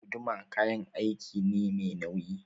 Guduma kayan aiki ne mai nauyi.